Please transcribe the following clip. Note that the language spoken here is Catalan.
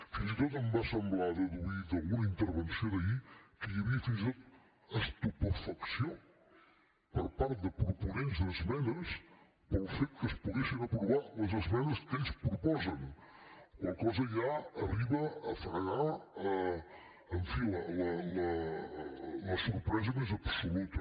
fins i tot em va semblar deduir d’alguna intervenció d’ahir que hi havia fins i tot estupefacció per part de proponents d’esmenes pel fet que es poguessin aprovar les esmenes que ells proposen la qual cosa ja arriba a fregar en fi la sorpresa més absoluta